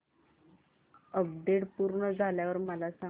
update पूर्ण झाल्यावर मला सांग